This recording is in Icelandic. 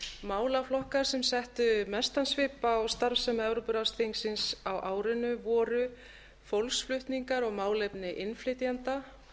málaflokkar sem settu mestan svip á starfsemi evrópuráðsþingsins á árinu voru fólksflutningar og málefni innflytjenda